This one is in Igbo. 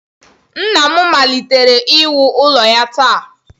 Nna m malitere iwu ụlọ ya taa